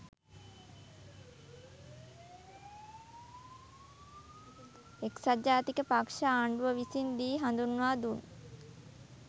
එක්සත් ජාතික පක්‍ෂ ආණ්ඩුව විසින් දී හඳුන්වා දුන්